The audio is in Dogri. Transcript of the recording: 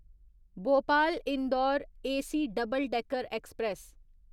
Bhopal Indore AC double decker express